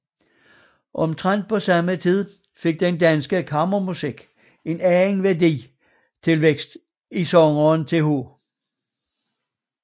Omtrent på samme tid fik den danske kammermusik en anden værdifuld tilvækst i sangeren Th